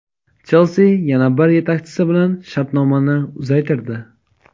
"Chelsi" yana bir yetakchisi bilan shartnomani uzaytirdi.